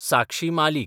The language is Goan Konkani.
साक्षी मालीक